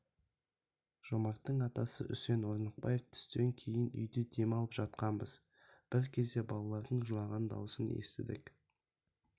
жомарттың атасы үсен орнықбаев түстен кейін үйде дем алып жатқанбыз бір кезде балалардың жылаған даусын естідік